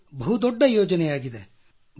ಇದು ಬಹು ದೊಡ್ಡ ಯೋಜನೆಯಾಗಿದೆ